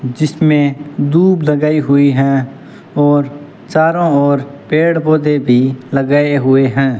जिसमें दूब लगाई हुई हैं और चारों ओर पेड़ पौधे भी लगाए हुए हैं।